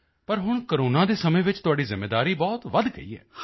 ਪਰ ਹੁਣ ਕੋਰੋਨਾ ਦੇ ਸਮੇਂ ਵਿੱਚ ਤੁਹਾਡੀ ਜ਼ਿੰਮੇਵਾਰੀ ਬਹੁਤ ਵਧ ਗਈ ਹੈ